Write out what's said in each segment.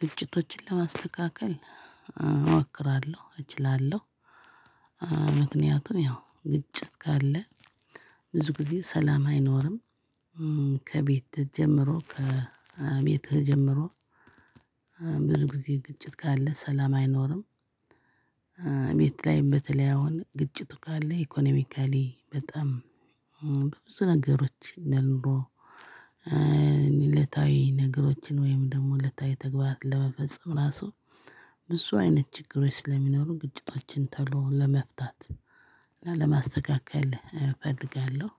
ግጭቶችን ለማስተካከል እሞክራለሁ እችላለሁ። ምክንያቱ ያው ግጭት ካለ ብዙ ጊዜ ሰላም አይኖርም። ከቤት ተጀምሮ ከ ከቤት ጀምሮ። ብዙ ግዜ ግጭት ካለ ሰላም አይኖርም። ቤት ላይ በተለይ አሁን ግጭቱ ካለ ኢኮኖሚካሊ በጣም በብዙ ነገሮች እንደ ኑሮ። እለታዊ ነገሮችን ወይም ደግሞ እለታዊ ተግባራት ለመፈጸም ራሱ ብዙ አይነት ችግሮች ስለሚኖሩ ግጭቶችን ቶሎ ለመፍታት እና ለማስተካከል እፈልጋለሁ።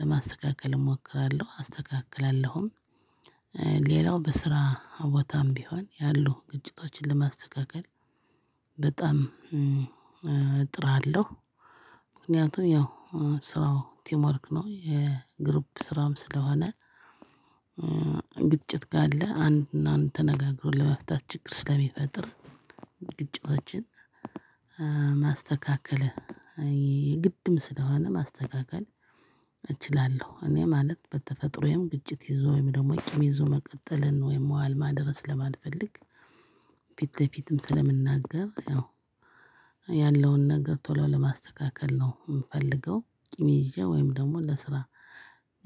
ለማስተካከል እሞክራለሁ አስተካክላለሁም። ሌላው በስራ ቦታም ቢሆን ያሉ ግጭቶችን ለማስተካከል በጣም እጥራለሁ። ምክንያቱም ያው ስራው ቲምወርክ ነው የግሩፕ ስራም ስለሆነ። ግጭት ካለ አንድና አንድ ተነጋግሮ ለመፍታት ችግር ስለሚፈጥር። ግጭቶችን ማስተካከል የግድም ስለሆነ ማስተካከል እችላለሁ። እኔ ማለት በተፈጥሮዬም ግጭት ይዞ ወይም ደግሞ ቂም ይዞ መቀጠልን ወይም መዋል ማደርን ስለማልፈልግ። ፊት በፊትም ስለምንናገር ያው ያለውን ነገር ቶሎ ለማስተካከል ነው የምፈልገው። ቂም ይዤ ወይም ደግሞ ለስራ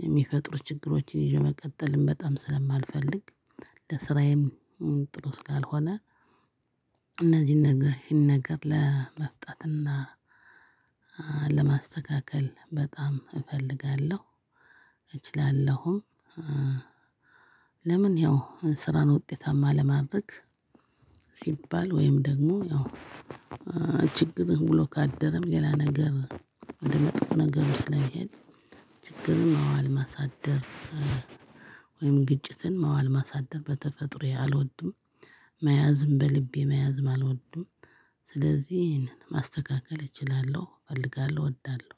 የሚፈጥሩ ችግሮችን ይዤ መቀጠልን በጣም ስለማልፈልግ ለስራዬም ጥሩ ስላልሆነ። እነዚህን ነገር ይሄን ነገር ለመስጠትና ለማስተካከል በጣም እፈልጋለሁ። እችላለሁም። ለምን ያው ስራን ውጤታማ ለማድረግ ሲባል ወይም ደግሞ ያው ችግርም ውሎ ካደረም ሌላ ነገር ወደ መጥፎ ነገር ስለሚሄድ ችግርን ማዋል ማሳደር። ወይም ግጭትን ማዋል ማሳደር በተፈጥሮዬ አልወድም። መያዝም በልቤ መያዝም አልወድም። ስለዚህ ይሄንን ማስተካከል እችላለሁ እፈልጋለሁ እወዳለሁ።